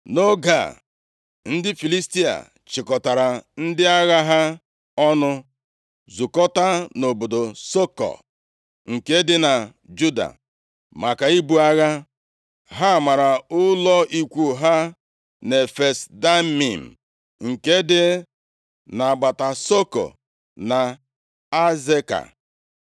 Nʼoge a, ndị Filistia chịkọtara ndị agha ha ọnụ, zukọtaa nʼobodo Sokoh nke dị na Juda maka ibu agha. Ha mara ụlọ ikwu ha nʼEfes Damim, nke dị nʼagbata Sokoh na Azeka.